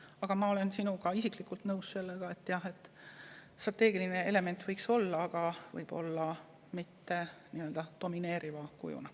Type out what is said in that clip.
Aga ma olen sinuga nõus selles, et strateegiline element võiks olla, ehkki võib-olla mitte nii domineerival kujul.